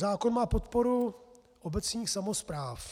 Zákon má podporu obecních samospráv.